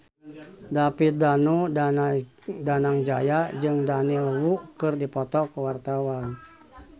David Danu Danangjaya jeung Daniel Wu keur dipoto ku wartawan